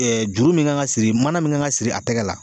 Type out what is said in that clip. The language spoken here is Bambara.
juru min kan ka siri mana min kan ka siri a tɛgɛ la